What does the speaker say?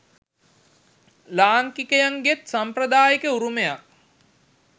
ලාංකිකයන්ගේත් සම්ප්‍රදායික උරුමයක්.